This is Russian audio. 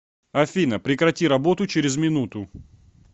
афина прекрати работу через минуту